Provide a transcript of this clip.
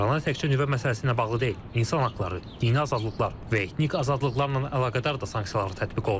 İrana təkcə nüvə məsələsi ilə bağlı deyil, insan haqları, dini azadlıqlar və etnik azadlıqlarla əlaqədar da sanksiyalar tətbiq olunur.